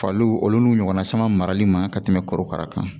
Faliw olu n'u ɲɔgɔnna caman marali man ka tɛmɛ korokara kan